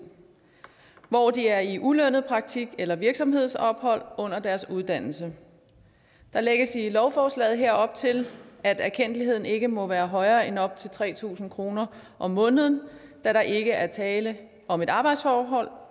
hvor de er i ulønnet praktik eller virksomhedsophold under deres uddannelse der lægges i lovforslaget her op til at erkendtligheden ikke må være højere end op til tre tusind kroner om måneden da der ikke er tale om et arbejdsforhold